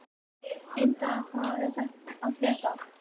Indra, hvað er að frétta?